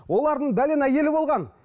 олардың әйелі болған